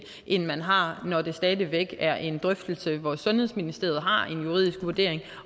end man har når det stadig væk er en drøftelse hvor sundhedsministeriet har en juridisk vurdering